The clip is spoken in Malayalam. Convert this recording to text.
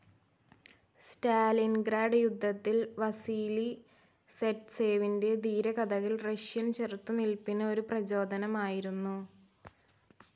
സ്റ്റാലിൻഗ്രാഡ് യുദ്ധത്തിൽ വസീലി സൈറ്റ്സേവിന്റെ ധീരകഥകൾ റഷ്യൻ ചെറുത്തുനിൽപ്പിന് ഒരു പ്രചോദനമായിരുന്നു